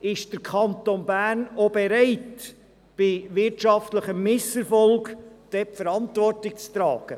Ist der Kanton Bern auch bereit, bei wirtschaftlichem Misserfolg die Verantwortung zu tragen?